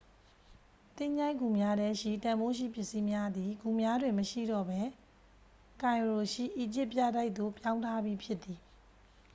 သင်္ချိုင်းဂူများထဲရှိ တန်ဖိုးရှိပစ္စည်းများသည် ဂူများတွင်မရှိတော့ပဲ ကိုင်ရိုရှိ အီဂျစ် ပြတိုက်သို့ ပြောင်းထားပြီးဖြစ်သည်